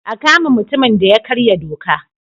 A kama mutumin da ya karya doka!